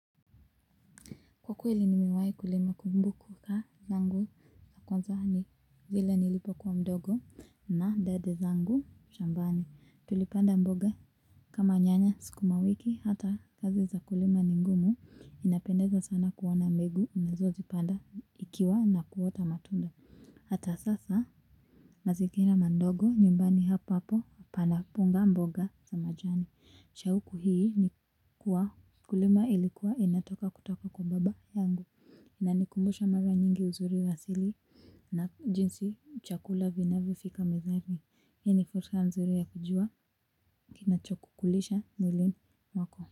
Kwa kweli nimewai kulima kumbuka tangu kwanza ni zile nilipokuwa mdogo na dada zangu shambani tulipanda mboga kama nyanya sikuma wiki hata kazi za kulima ni ngumu inapendeza sana kuona mbegu unazozipanda ikiwa na kuota matunda. Hata sasa, mazigira mandogo nyumbani hapa hapo, pana panda mboga za majani. Shauku hii ni kuwa, kulima ilikuwa inataka kutoka kwa baba yangu. Inanikumbusha mara nyingi uzuri wa asili na jinsi chakula vinavyofika mezani. Hii ni fursa mzuri ya kujua nachokukulisha mwilini wako.